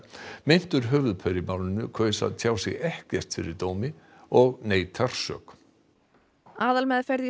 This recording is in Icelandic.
meintur höfuðpaur í málinu kaus að tjá sig ekkert fyrir dómi og neitar sök aðalmeðferð í